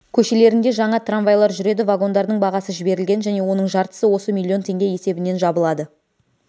көшелерінде жаңа трамвайлар жүреді вагондардың бағасы жіберілген және оның жартысы осы миллион теңге есебінен жабылады